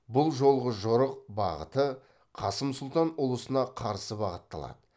бұл жолғы жорық бағыты қасым сұлтан ұлысына қарсы бағытталады